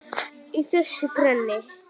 Í þessu greni?